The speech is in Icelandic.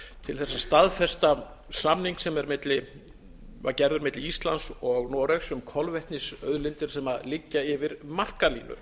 til þess að staðfesta samning sem var gerður milli íslands og noregs um kolvetnisauðlindir sem liggja yfir markalínu